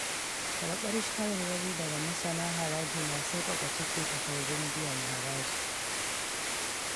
Karɓar shawarwari daga masanan haraji na sauƙaƙa cike takardun biyan haraji.